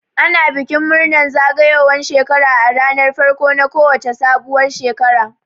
Ana bikin murnar zagayowan shekara a ranar farko na ko wace sabuwar shekara